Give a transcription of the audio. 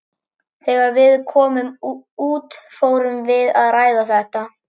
Þegar við komum út fórum við að ræða þetta.